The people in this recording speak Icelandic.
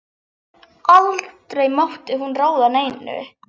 Aldrei mátti hún ráða neinu.